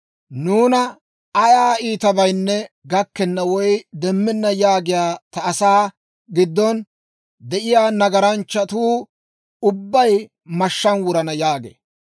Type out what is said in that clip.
‹Nuuna ayaa iitabaynne gakkenna woy demmenna› yaagiyaa ta asaa giddon de'iyaa nagaranchchatuu ubbay mashshaan wurana» yaagee.